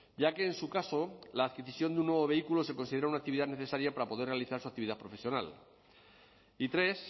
ya que en su caso la adquisición de un nuevo vehículo se considera una actividad necesaria para poder realizar su actividad profesional y tres